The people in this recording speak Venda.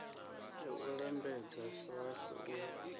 ya u lambedza srsa u